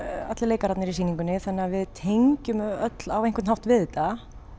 allir leikararnir í sýningunni þannig að við tengjum öll á einhvern hátt við þetta